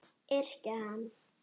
Yrkja hann!